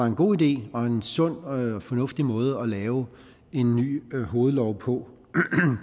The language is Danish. en god idé og en sund og fornuftig måde at lave en ny hovedlov på